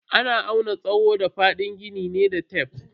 Ana auna tsawo da fadin gini ne da tef.